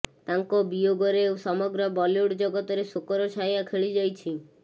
ତାଙ୍କ ବିୟୋଗରେ ସମଗ୍ର ବଲିଉଡ୍ ଜଗତରେ ଶୋକର ଛାୟା ଖେଳିଯାଇଛି